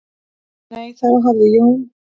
"""Nei, þá hafði Jón"""